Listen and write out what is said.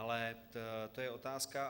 Ale to je otázka.